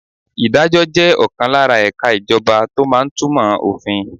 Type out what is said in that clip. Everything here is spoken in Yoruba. Ìdájọ́ jẹ́ ọ̀kan lára ẹ̀ka ìjọba tó máa ń túmọ̀ òfin.